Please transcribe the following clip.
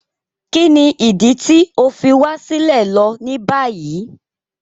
Kíni idi ti o fi wa silẹ lo ni bayi?